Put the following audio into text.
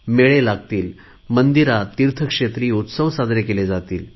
मेळे लागतील मंदिरात तीर्थक्षेत्रांमध्ये उत्सव साजरे केले जातात